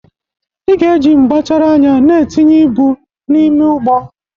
Ị ga-eji mgbachara anya na-etinye ibu n'ime ụgbọ!